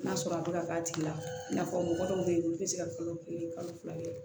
N'a sɔrɔ a bɛ ka k'a tigi la i n'a fɔ mɔgɔ dɔw bɛ yen olu tɛ se ka kalo kelen kalo fila kɛ